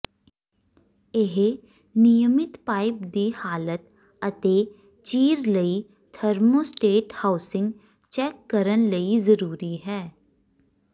ਇਹ ਨਿਯਮਿਤ ਪਾਈਪ ਦੀ ਹਾਲਤ ਅਤੇ ਚੀਰ ਲਈ ਥਰਮੋਸਟੇਟ ਹਾਊਸਿੰਗ ਚੈੱਕ ਕਰਨ ਲਈ ਜ਼ਰੂਰੀ ਹੈ